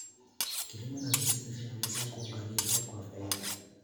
Kilimo na misitu vinaweza kuunganishwa kwa faida.